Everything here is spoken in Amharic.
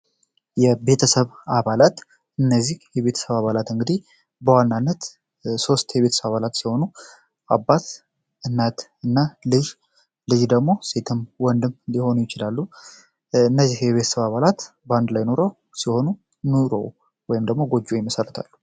የቤተሰብ አባላት እነዚህ የቤተሰብ አባላት እንግዲህ በዋናነት ሶስት የቤተሰብ አባላት ሲሆኑ እናት ፣አባት እና ልጅ ልጅ ደግሞ ሴትም ወንድም ሊሆኑ ይችላሉ። እነዚህ የቤተሰብ አባላት በአንድላይ ሁነው የሚኖሩ ሲሆኑ ኑሮ ወይም ደግሞ ጎጆ ይመሰርታሉ።